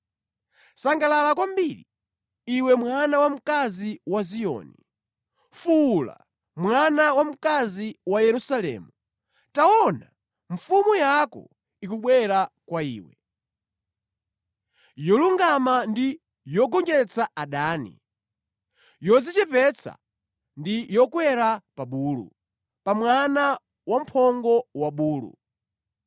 Sangalala kwambiri, iwe mwana wamkazi wa Ziyoni! Fuwula, mwana wamkazi wa Yerusalemu! Taona, mfumu yako ikubwera kwa iwe, yolungama ndi yogonjetsa adani, yodzichepetsa ndi yokwera pa bulu, pa mwana wamphongo wa bulu.